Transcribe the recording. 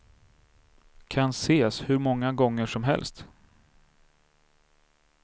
Kan ses hur många gånger som helst.